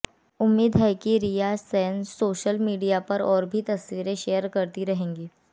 उम्मीद है कि रिया सेन सोशल मीडिया पर और भी तस्वीरें शेयर करती रहेंगी